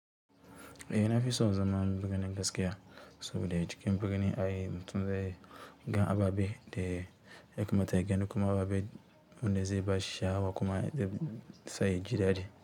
Eh nafi son zaman birni gaskiya soboda cikin birni ai mutum zai gan ababe da ya kamata ya gani da kuma ababe wanda zai bashi shaawa kuma zai ji daɗi.